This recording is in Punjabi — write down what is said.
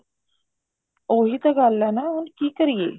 ਉਹੀ ਤਾਂ ਗੱਲ ਹੈ ਹੁਣ ਕੀ ਕਰੀਏ